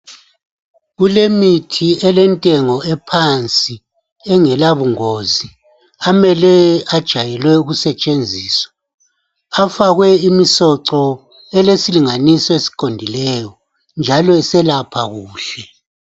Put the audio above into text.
Kulemithi elentengo ephansi engelabungozi amele ajayelwe ukusetshenziswa afakwe imisoco elesilinganiso esiqondileyo njalo eselapha kuhle.